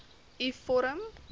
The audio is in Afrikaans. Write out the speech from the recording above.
u vorm